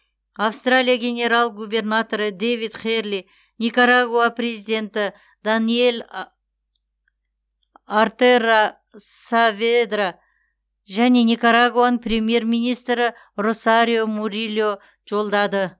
австралия генерал губернаторы дэвид херли никарагуа президенті даниель ортега сааведра және никарагуаның премьер министрі росарио мурильо жолдады